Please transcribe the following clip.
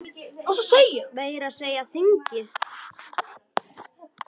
Meira að segja þingið!